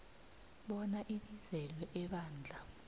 bona abizelwe ebandla